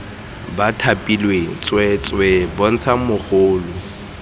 ba thapilweng tsweetswee bontsha mogolo